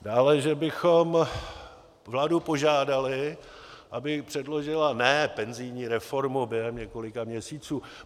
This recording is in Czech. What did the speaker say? Dále, že bychom vládu požádali, aby předložila ne penzijní reformu během několika měsíců.